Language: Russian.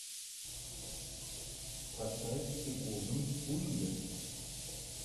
поставь сигурни уивер